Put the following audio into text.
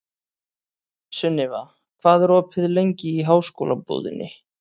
Sunniva, hvað er opið lengi í Háskólabúðinni?